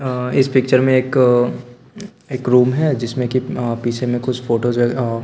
अ इस पिक्चर में एक एक रूम है जिसमें कि अ पीछे में कुछ फोटोज़ अ --